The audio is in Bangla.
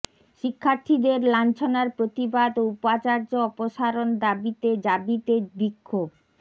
শিক্ষার্থীদের লাঞ্ছনার প্রতিবাদ ও উপাচার্য অপসারণ দাবিতে জাবিতে বিক্ষোভ